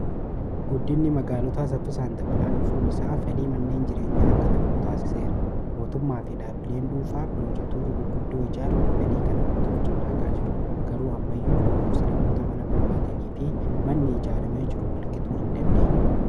Guddinni magaalotaa saffisaan dabalaa dhufuun isaa fedhii manneen jireenya akka dabalu taase seera mootummaa fi dhaapili'een dhuunfaa piroojektoota gudguddoo ijaaruun fedhii kana guutuuf carraakaa jiru garuu ammaiyyuu lakkoofsi namoota mana barbaadanii fi manni ijaaramee jiru walgitu hin jiraatu.